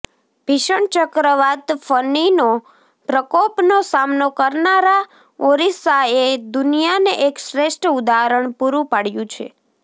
ભીષણ ચક્રવાત ફનીનો પ્રકોપનો સામનો કરનારા ઓરિસ્સાએ દુનિયાને એક શ્રેષ્ઠ ઉદાહરણ પુરૂ પાડ્યું છે